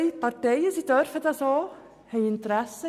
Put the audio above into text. Zwei Parteien vertreten in dieser Angelegenheit ihre Interessen.